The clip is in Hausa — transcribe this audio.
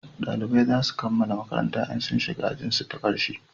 dalibai zasu kammala makaranta in sun shiga ajin su ta karshe